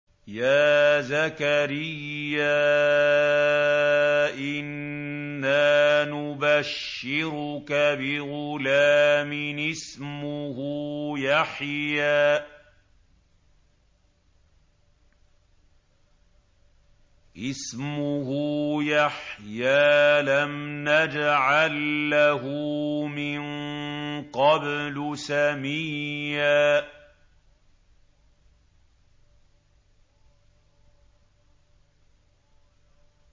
يَا زَكَرِيَّا إِنَّا نُبَشِّرُكَ بِغُلَامٍ اسْمُهُ يَحْيَىٰ لَمْ نَجْعَل لَّهُ مِن قَبْلُ سَمِيًّا